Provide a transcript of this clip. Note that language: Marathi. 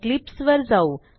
इक्लिप्स वर जाऊ